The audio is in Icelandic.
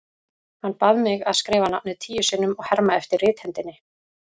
Hann bað mig að skrifa nafnið tíu sinnum og herma eftir rithendinni.